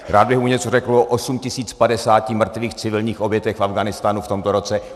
Rád bych mu něco řekl o 8 050 mrtvých civilních obětech v Afghánistánu v tomto roce.